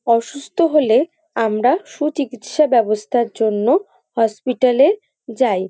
অসুস্থ হলে আমরা সুচিকিৎসা ব্যবস্থার জন্য হসপিটাল এ যাই।